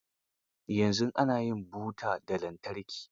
Yanzu ana yin buta ta lantarki.